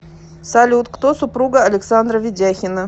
салют кто супруга александра ведяхина